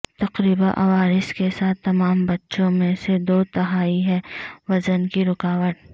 تقریبا عوارض کے ساتھ تمام بچوں میں سے دو تہائی ہیں وژن کی رکاوٹ